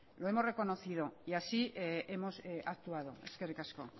lo hemos reconocido y así hemos actuado eskerrik asko